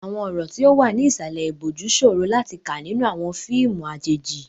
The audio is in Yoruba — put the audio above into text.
Àwọn ọ̀rọ̀ tí ó wà ní ìsàlẹ̀ ìbòjú ṣòro láti kà nínú àwọn fíìmù àjèjì.